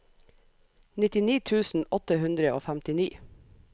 nittini tusen åtte hundre og femtini